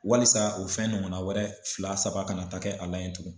Walisa o fɛn ɲɔgɔnna wɛrɛ fila saba kana taa kɛ a la yen tugun.